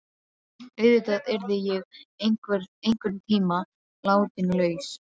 Auðvitað yrði ég einhverntíma látin laus.